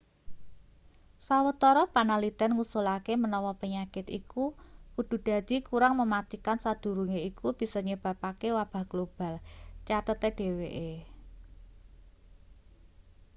sawetara panaliten ngusulake menawa penyakit iku kudu dadi kurang mematikan sadurunge iku bisa nyebabake wabah global cathete dheweke